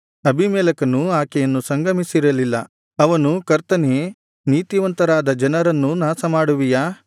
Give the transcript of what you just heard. ಅಬೀಮೆಲೆಕನು ಆಕೆಯನ್ನು ಸಂಗಮಿಸಿರಲಿಲ್ಲ ಅವನು ಕರ್ತನೇ ನೀತಿವಂತರಾದ ಜನರನ್ನೂ ನಾಶಮಾಡುವಿಯಾ